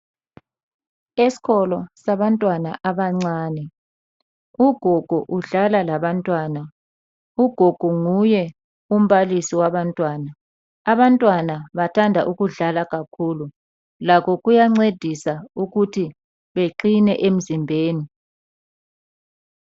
Esikolo sabantwana abancane, ugogo udlala labantwana, ugogo nguye umbalisi wabantwana, abantwana bathanda ukudlala kakhulu, lakho kuyancedisa ukuthi beqine emzimbeni.